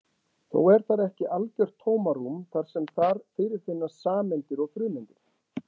Þó er þar ekki algjört tómarúm þar sem þar fyrirfinnast sameindir og frumeindir.